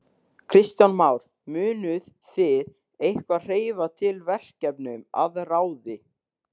Kristján Már: Munuð þið eitthvað hreyfa til verkefnum að ráði?